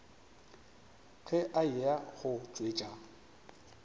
ge a eya go tšwetša